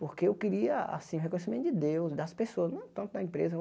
Porque eu queria, assim, o reconhecimento de Deus, das pessoas, não tanto da empresa.